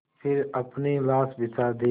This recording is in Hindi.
फिर अपनी लाश बिछा दी